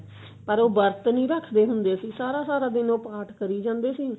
ਪਰ ਉਹ ਵਰਤ ਨਹੀ ਰੱਖਦੇ ਹੁੰਦੇ ਸੀ ਸਾਰਾ ਸਾਰਾ ਦਿਨ ਉਹ ਪਾਠ ਕਰੀ ਜਾਂਦੇ ਸੀ